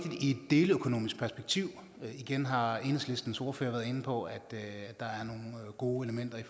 i et deleøkonomisk perspektiv igen har enhedslistens ordfører været inde på at der er nogle gode elementer i